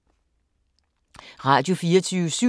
Radio24syv